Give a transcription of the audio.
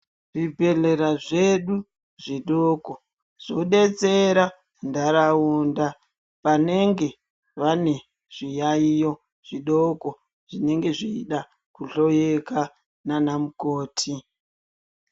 Zvibhedhlera zvedu zvidoko zvodetsera ntaraunda vanenge vane zviyaiyo zvidoko zvinenge zveida kuhloyewa nanamukoti.